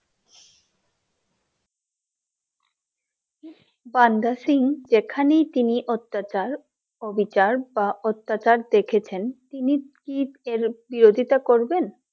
বান্দা সিং যেখানেই তিনি অত্যাচার, অবিচার বা অত্যাচার দেখেছেন তিনি কি এর বিরোধিতা করবেন ।